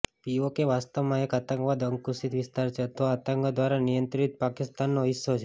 PoK વાસ્તવમાં એક આતંકવાદ અંકુશિત વિસ્તાર છે અથવા આતંકવાદ દ્વારા નિયંત્રિત પાકિસ્તાનનો હિસ્સો છે